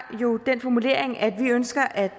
jo den formulering at vi ønsker at